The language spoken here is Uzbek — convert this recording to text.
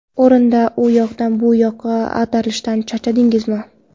O‘rinda u yoqdan bu yoqqa ag‘darilishdan charchadingizmi?